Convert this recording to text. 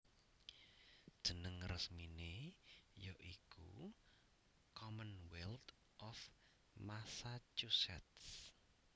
Jeneng resminé ya iku Commonwealth of Massachusetts